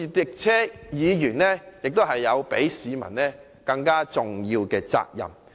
再者，議員亦有較市民更重大的責任。